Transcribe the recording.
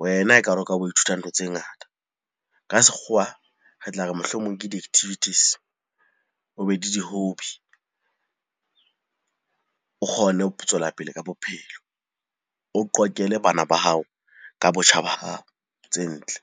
wena ekare o ka bo ithuta ntho tse ngata. Ka sekgowa re tla re mohlomong ke di-activities, o be le di-hobby. O kgone ho tswela pele ka bophelo, o qoqele bana ba hao ka botjha ba hao tse ntle.